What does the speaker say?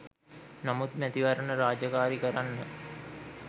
නමුත් මැතිවරණ රාජකාරි කරන්න